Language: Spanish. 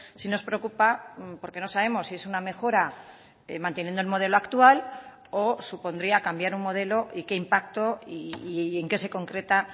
sí nos preocupa porque no sabemos si es una mejora manteniendo el modelo actual o supondría cambiar un modelo y qué impacto y en qué se concreta